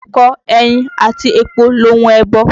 Ẹ̀kọ, ẹyin àti epo lohun ẹbọ.